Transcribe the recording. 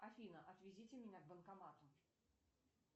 афина отвезите меня к банкомату